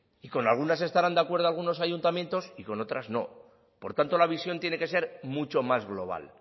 y con algunas estarán de acuerdo algunos ayuntamientos y con otras no por tanto la visión tiene que ser mucho más global